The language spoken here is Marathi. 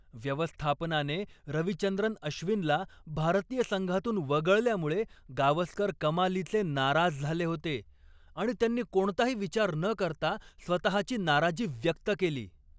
व्यवस्थापनाने रविचंद्रन अश्विनला भारतीय संघातून वगळल्यामुळे गावस्कर कमालीचे नाराज झाले होते आणि त्यांनी कोणताही विचार न करता स्वतःची नाराजी व्यक्त केली.